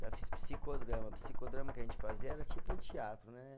Já fiz psicodrama, psicodrama que a gente fazia era tipo um teatro, né?